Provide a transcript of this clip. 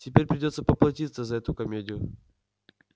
тебе придётся поплатиться за эту комедию